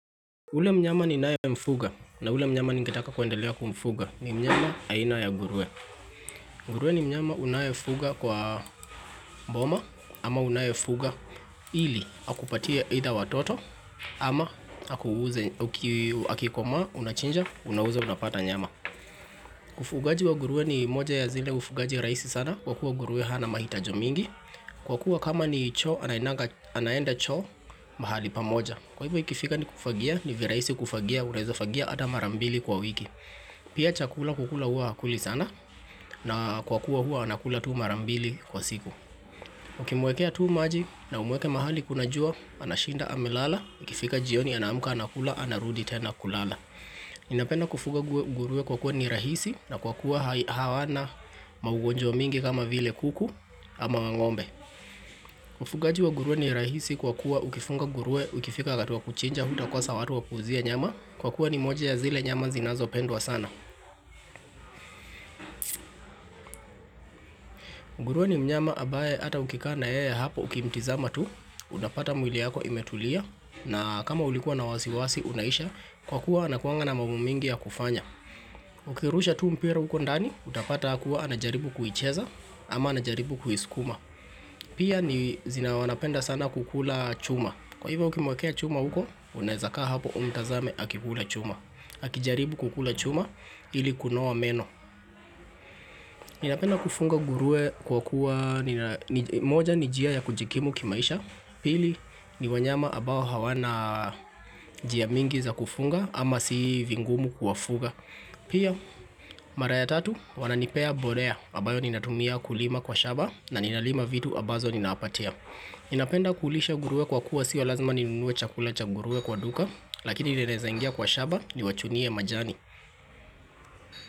Ule mnyama ninaye mfuga na ule mnyama ningetaka kuendelea kumfuga ni mnyama aina ya ngurue ngurue ni mnyama unayefuga kwa boma ama unayefuga ili akupatia either watoto ama akikomaa unachinja unauza unapata nyama Ufugaji wa ngurue ni moja ya zile ufugaji ya raisi sana kwa kuwa ngurue hana mahitaji mingi Kwa kuwa kama ni choo anaenda choo mahali pamoja Kwa hivyo ikifika ni kufagia, ni viraisi kufagia, unaezafagia hata marambili kwa wiki. Pia chakula kukula hua hakuli sana na kwa kuwa hua anakula tu marambili kwa siku. Ukimwekea tu maji na umweke mahali kuna jua, anashinda amelala, ikifika jioni anaamuka anakula, anarudi tena kulala. Ninapenda kufuga ngurue kwa kuwa ni rahisi na kwa kuwa hawana maugonjwa mingi kama vile kuku ama ngombe. Ufugaji wa ngurue ni rahisi kwa kuwa ukifunga ngurue, ukifika wakati wa kuchinja, hutakosa watu wa kuuzia nyama Kwa kuwa ni moja ya zile nyama zinazopendwa sana ngurue ni mnyama ambaye hata ukikaa na yeye hapo ukimtizama tu, unapata mwili yako imetulia na kama ulikuwa na wasiwasi unaisha, kwa kuwa anakuanga na mambo mingi ya kufanya Ukirusha tu mpira huko ndani, utapata hakuwa anajaribu kuicheza ama anajaribu kuisukuma Pia ni zina wanapenda sana kukula chuma Kwa hivyo ukimwakea chuma huko, unaezaka hapo umtazame hakikula chuma. Akijaribu kukula chuma ili kunoa meno. Ninapenda kufunga ngurue kwa kuwa moja ni njia ya kujikimu kimaisha. Pili ni wanyama ambao hawana njia mingi za kufunga ama si vingumu kuwafuga. Pia mara ya tatu wananipea mbolea. Ambayo ninatumia kulima kwa shamba na ninalima vitu ambazo ninawapatia. Ninapenda kulisha ngurue kwa kuwa sio lazima ninunue chakula cha ngurue kwa duka Lakini ninaweza ingia kwa shamba niwachunie majani.